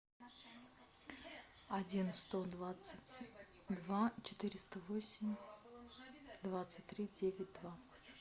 один сто двадцать два четыреста восемь двадцать три девять два